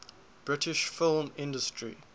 british film industry